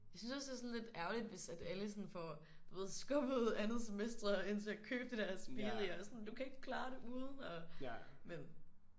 Jeg synes også det er sådan lidt ærgerligt hvis at alle sådan får du ved skubbet andet semester hen til at købe det der Aspiri og sådan du kan ikke klare det uden men